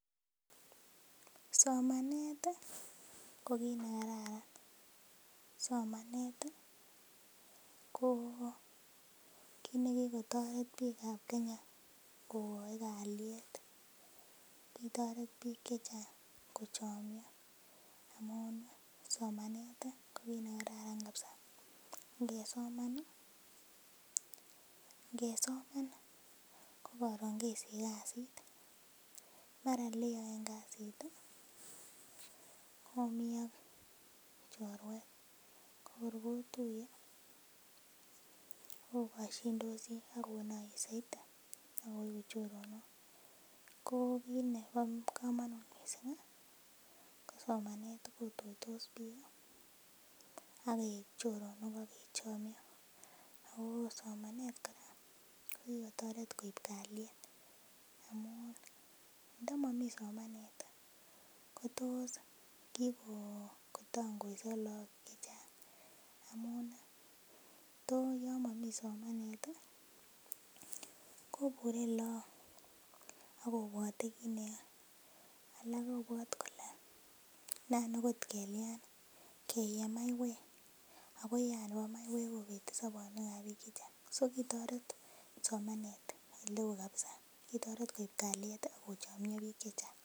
Somanet ko kit nekararan somanet ko kit nekikotaret bik ab Kenya kogai kalyet kitaret bik chechang kochamio amun somanet ko kit nekararan mising kabisa ngesomankokaron kesich kasit mara oleyaen kasit Komi ak chorwet korkoruiye ogashindosi akonaiye saiti akoigu choronok ko kit neba kamanut mising kosomanet ageik choronok kikotaret koib kaliet amun ntamami somanet kotos kikotangoiso logok amun tis Yami somanet koburen logok akobwate kit neyae alak kobwate Kole nan okot kelyan Keye maiywek akoyean Nebo maiywek kobete bik en sabanwek ab bik chechang so kitaret bik somanet neon kabisa koib kaliet akochomia bik.